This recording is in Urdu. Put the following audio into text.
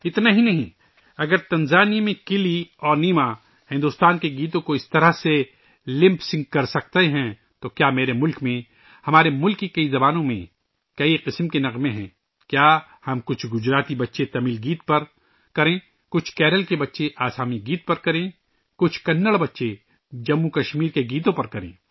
یہی نہیں، اگر تنزانیہ میں کلی اور نیما بھارت کے گانوں کو اس طرح لِپ سِنک کر سکتے ہیں، تو کیا میرے ملک میں ، کئی طرح کے گانے ہمارے ملک کی کئی زبانوں میں ہیں، کیا ہم کوئی ، گجراتی بچے تمل گانے پر کریں ، کوئی کیرل کے بچے آسامی گیت پر کریں ، کوئی کنڑ بچے جموں و کشمیر کے گیتوں پر کریں